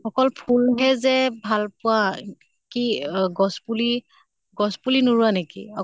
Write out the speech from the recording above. অকল ফুল হে যে ভাল পোৱা কি অ গছ পুলি, গছ পুলি নোৰোৱা নেকি?